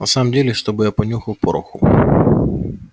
на самом деле чтобы я понюхал пороху